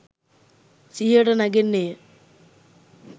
සිහියට නැගෙන්නේ ය.